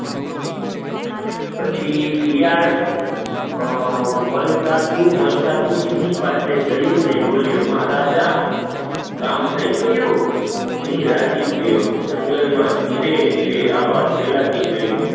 પછી શિયાળ મલકાતું મલકાતું સિંહ પાસે ગયો, મહારાજા કામ થી ગયું, સિંહ રાજી થયો, જંગ માં ધીમે ધીમે આ વાત ફેલાય ગઈ